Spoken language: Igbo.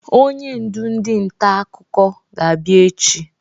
Onye ndụ ndị nta akụko ga-abịa echi.